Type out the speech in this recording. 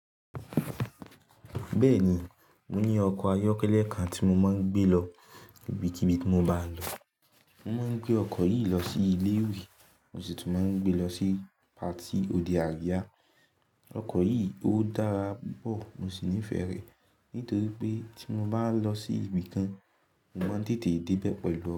Bẹ́ẹ̀ni, mo ní ọkọ̀ ayọ́kẹ́lẹ́ kan tí mo máa ń gbé lọ ibikibi tí mo bá ń lọ. Mo máa ń gbé ọkọ̀ yìí lọ sí ilé ìwé, mo sì tún máa ń gbé lọ sí patí òde àríyá. Ọkọ̀ yìí ó dára púpọ̀, mo sì nífẹ̀ẹ́ rẹ̀ nítorí pé tí mo bá lọ sí ibi kan, mo máa ń tètè dé bẹ́ẹ̀ pelu ọ.